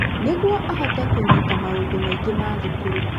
Nĩguo ahote kũnyita maũndũ maingĩ ma thukuru.